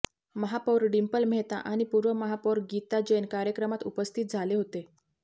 महापौर डिंपल मेहता आणि पूर्व महापौर गीता जैन कार्यक्रमात उपस्थित झाले होते